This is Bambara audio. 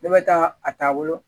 Ne bɛ taa a taabolo